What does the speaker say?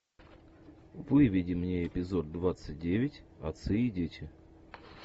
выведи мне эпизод двадцать девять отцы и дети